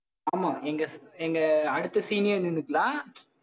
ஆமா எங்க எங்க அடுத்த senior நின்னுக்கலாம்